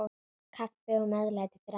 Kaffi og meðlæti fyrir alla.